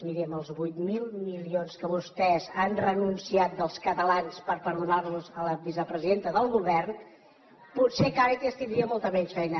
miri amb els vuit mil milions a què vostès han renunciat dels catalans per perdonarlos a la vicepresidenta del govern potser càritas tindria molta menys feina